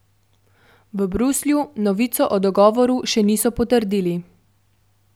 V Bruslju novice o dogovoru še niso potrdili.